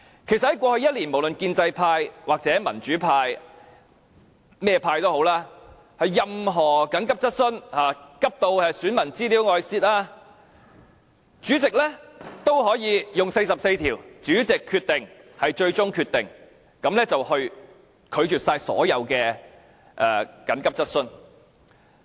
事實上，在過去一年，無論是建制派、民主派或甚麼派，任何急切質詢，例如緊急如市民資料外泄，主席也可以引用《議事規則》第44條"主席決定為最終決定"，拒絕所有急切質詢。